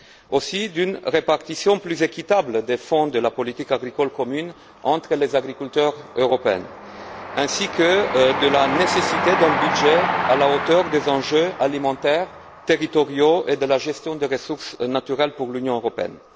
Je songe également à une répartition plus équitable des fonds de la politique agricole commune entre les agriculteurs européens, ainsi qu'à la nécessité d'un budget à la hauteur des enjeux alimentaires et territoriaux et de la gestion des ressources naturelles pour l'Union européenne.